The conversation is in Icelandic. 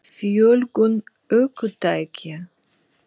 Fjölgun ökutækja?